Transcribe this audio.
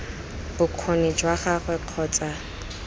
bokgoni jwa gagwe kgotsa ii